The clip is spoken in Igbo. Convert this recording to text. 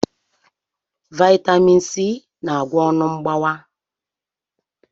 Vaitamin C na-agwọ ọnụ mgbawa.